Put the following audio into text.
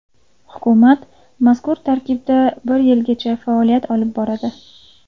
Hukumat mazkur tarkibda bir yilgacha faoliyat olib boradi.